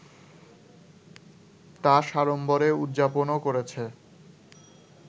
তা সাড়ম্বরে উদযাপনও করেছে